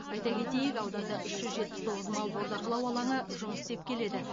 айта кетейік ауданда үш жүз жетпіс тоғыз мал бордақылау алаңы жұмыс істеп келеді